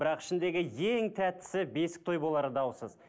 бірақ ішіндегі ең тәттісі бесік той болары даусыз